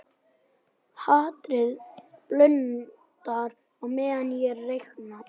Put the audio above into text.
Hatrið blundar á meðan ég reikna.